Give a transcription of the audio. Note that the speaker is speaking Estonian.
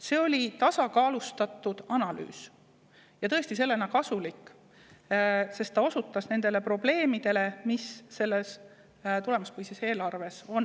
See oli tasakaalustatud analüüs ja tõesti sellisena kasulik, sest ta osutas nendele probleemidele, mis tulemuspõhises eelarves on.